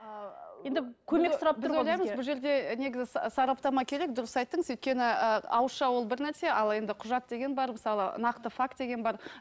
ыыы енді көмек сұрап тұр ғой біз ойлаймыз бұл жерде негізі сараптама керек дұрыс айттыңыз өйткені ііі ауызша ол бір нәрсе ал енді құжат деген бар мысалы нақты факт деген бар